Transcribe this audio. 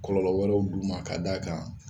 Kɔlɔlɔ wɛrɛw d'u ma ka da a kan